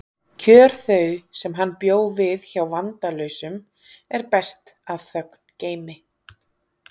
Kjör þau sem hann bjó við hjá vandalausum er best að þögn geymi.